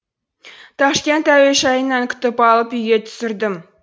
ташкент әуежайынан күтіп алып үйге түсірдім